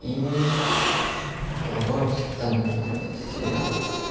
половое воспитание называется сериал